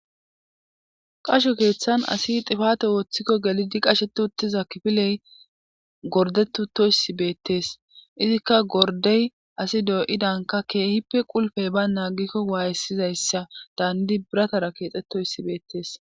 Qasho keeththan asi xifate ooththikko gelidi qashetu uttiza kifiley gordettoyssi beettees izikka gordey asi doo7idanka keehippe qulfey ba naagikko waayessizayssa daandi biratara keexettoyssi beettees.